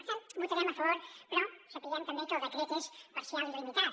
per tant hi votarem a favor però sabent també que el decret és parcial i limitat